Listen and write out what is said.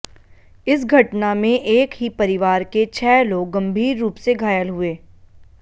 इस घटना में एक ही परिवार के छह लोग गंभीर रूप से घायल हुये